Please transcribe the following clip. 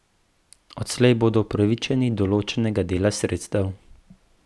Odslej bodo upravičeni določenega dela sredstev.